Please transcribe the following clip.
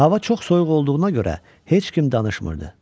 Hava çox soyuq olduğuna görə heç kim danışmırdı.